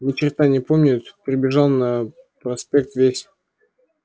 ни черта не помнит прибежал на проспект весь